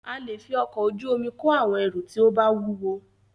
A lè fí ọkọ̀ ojú omi kó àwọn ẹrù tí o bá wúwo.